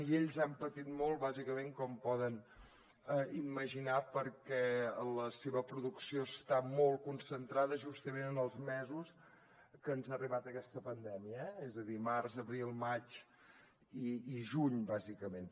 i ells han patit molt bàsicament com poden imaginar perquè la seva producció està molt concentrada justament en els mesos que ens ha arribat aquesta pandèmia és a dir març abril maig i juny bàsicament